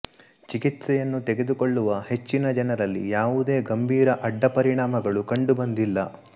ಚಿಕಿತ್ಸೆಯನ್ನು ತೆಗೆದುಕೊಳ್ಳುವ ಹೆಚ್ಚಿನ ಜನರಲ್ಲಿ ಯಾವುದೇ ಗಂಭೀರ ಅಡ್ಡ ಪರಿಣಾಮಗಳು ಕಂಡುಬಂದಿಲ್ಲ